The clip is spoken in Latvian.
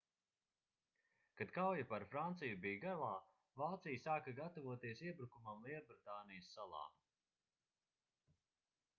kad kauja par franciju bija galā vācija sāka gatavoties iebrukumam lielbritānijas salā